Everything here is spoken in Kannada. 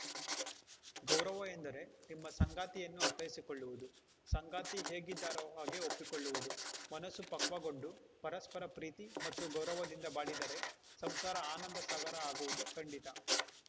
ಗೌರವ ಎಂದರೆ ನಿಮ್ಮ ಸಂಗಾತಿಯನ್ನು ಅರ್ಥೈಸಿಕೊಳ್ಳುವುದು ಸಂಗಾತಿ ಹೇಗಿದ್ದಾರೋ ಹಾಗೆ ಒಪ್ಪಿಕೊಳ್ಳುವುದು ಮನಸ್ಸು ಪಕ್ವಗೊಂಡು ಪರಸ್ಪರ ಪ್ರೀತಿ ಮತ್ತು ಗೌರವದಿಂದ ಬಾಳಿದರೆ ಸಂಸಾರ ಆನಂದ ಸಾಗರ ಆಗುವುದು ಖಂಡಿತ